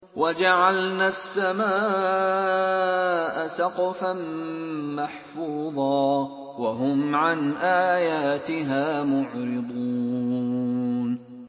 وَجَعَلْنَا السَّمَاءَ سَقْفًا مَّحْفُوظًا ۖ وَهُمْ عَنْ آيَاتِهَا مُعْرِضُونَ